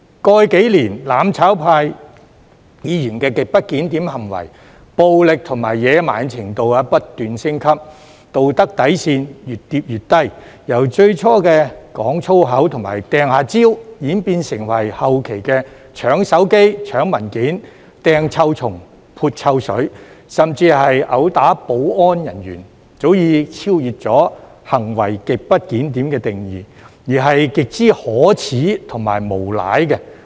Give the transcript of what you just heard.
過去數年，"攬炒派"議員的極不檢點行為，暴力及野蠻的程度不斷升級，道德底線越跌越低，由最初的講粗口及"掟"蕉，演變成後期的搶手機、搶文件、"掟"臭蟲、撥臭水，甚至毆打保安人員，早已超越"行為極不檢點"的定義，而是極之可耻及無賴。